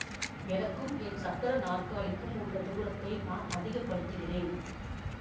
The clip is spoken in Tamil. எனக்கும் என் சக்கர நாற்காலிக்கும் உள்ள தூரத்தை நான் அதிக படுத்துகிறேன்